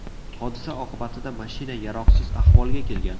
Hodisa oqibatida mashina yaroqsiz ahvolga kelgan.